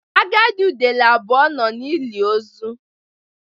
Agadi udele abụọ nọ n'ili ozu.